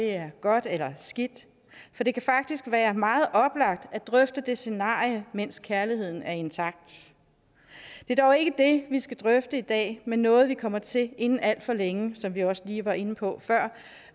er godt eller skidt for det kan faktisk være meget oplagt at drøfte det scenarie mens kærligheden er intakt det er dog ikke det vi skal drøfte i dag men noget vi kommer til inden alt for længe som vi også lige var inde på før